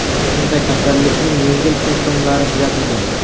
Unda kasallikning yengil simptomlari kuzatilgan .